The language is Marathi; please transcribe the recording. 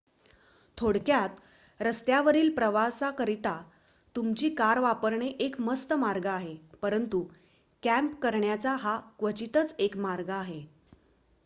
"थोडक्यात रस्त्यावरील प्रवासाकरिता तुमची कार वापरणे एक मस्त मार्ग आहे परंतु "कँप" करण्याचा हा क्वचितच एक मार्ग आहे.